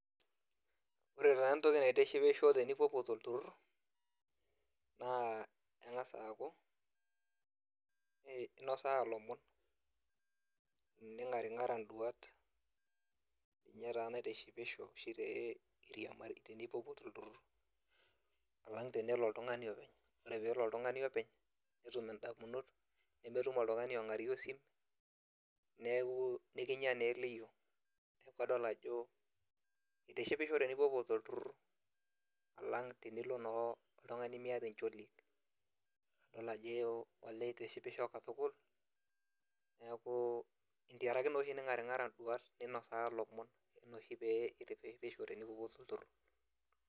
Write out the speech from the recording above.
Ore taa entoki naitishipisho tenipopuo tolturut naa kengasa aaku inosaa lomon, ningaringara nduat ninye oshi naitishipisho tenipopuo tolturut alang tenelo oltungani openy, ore pelo oltungani openy netum indamunot nemetum oltungani ongarie osim neaku ekinyaa eliyio neaku itishipisho tenipopuo tolturur alang tenilonaa oltungani miata encholuet, neaku kitishipisho katukul tenkaraki naa ningaringara nduat ninyanya lomon inoshi peitishipisho tenipopuo tolturur.